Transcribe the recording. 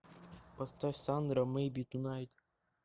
поставь сандра мэйби тунайт